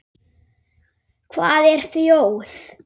Hvað er þjóð?